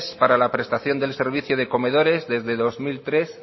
para la prestación de servicios de comedores desde dos mil tres